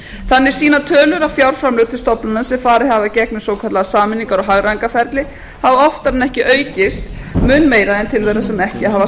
þannig sýna tölur að fjárframlög til stofnana sem farið hafa í gegnum svokallað sameiningar og hagræðingarferli hafa oftar en ekki aukist mun meira en til þeirra sem ekki hafa